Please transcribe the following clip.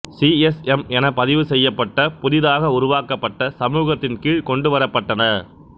C S M என பதிவுசெய்யப்பட்ட புதிதாக உருவாக்கப்பட்ட சமூகத்தின் கீழ் கொண்டுவரப்பட்டன